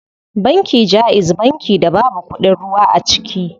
Banki jaiz banki da babu kuɗin ruwa a ciki.